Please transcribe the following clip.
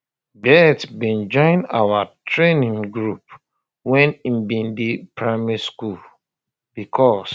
bett bin join our um training um group wen im bin dey primary school becos